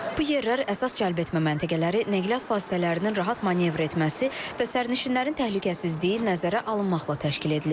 Bu yerlər əsas cəlbetmə məntəqələri, nəqliyyat vasitələrinin rahat manevr etməsi və sərnişinlərin təhlükəsizliyi nəzərə alınmaqla təşkil edilib.